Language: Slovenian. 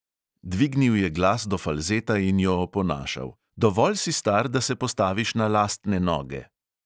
"Dvignil je glas do falzeta in jo oponašal: "dovolj si star, da se postaviš na lastne noge."